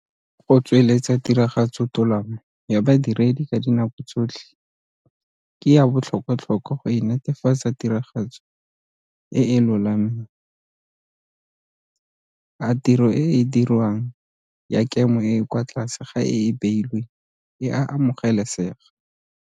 Go tsweletsa tiragatsotolamo ya badiredi ka dinako tsotlhe ke ya botlhokwatlhokwa go enetefatsa tiragatso e e lolameng. A tiro e e dirwang ya kemo e e kwa tlase ga e e beilweng e a amogelesega?